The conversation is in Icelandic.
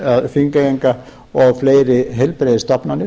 þingeyinga og fleiri heilbrigðisstofnanir